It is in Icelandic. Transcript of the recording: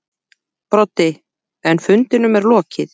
Broddi: En fundinum lokið.